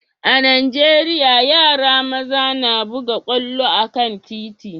a'Nijeriya, yaran maza na buga kwallo a'kan titi.